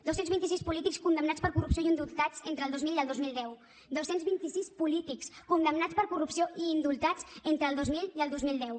dos cents vint i sis polítics condemnats per corrupció i indultats entre el dos mil i el dos mil deu dos cents i vint sis polítics condemnats per corrupció i indultats entre el dos mil i el dos mil deu